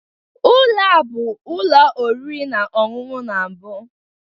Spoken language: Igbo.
Ụlọ a bụ ụlọ oriri na ọṅụṅụ na mbụ?